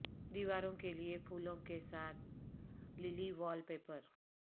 دیواروں کے لئے پھولوں کے ساتھ للی وال پیپر